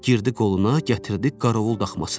Girdi qoluna, gətirdi qarovul daxmasına.